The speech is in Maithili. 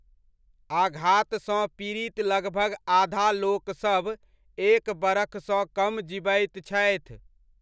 आघातसँ पीड़ित लगभग आधा लोकसभ एक बरखसँ कम जीबैत छथि।